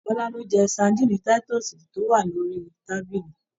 Bọla lo jẹ sadinni titọsi to wa l'ori tábìlì.